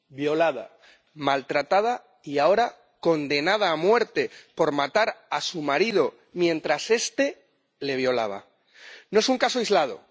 Violada, maltratada y ahora condenada a muerte por matar a su marido mientras este la violaba. No es un caso aislado.